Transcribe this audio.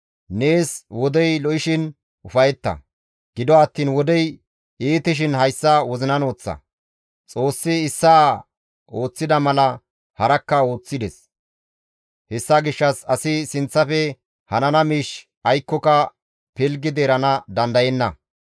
Nees wodey lo7ishin ufayetta; gido attiin wodey iitishin hayssa wozinan woththa; Xoossi issaa ooththida mala harakka ooththides; hessa gishshas asi sinththafe hanana miish aykkoka pilggidi erana dandayenna.